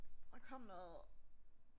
Der kom noget